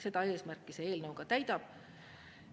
Seda eesmärki see eelnõu ka täidab.